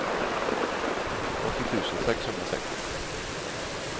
åttio tusen sexhundrasex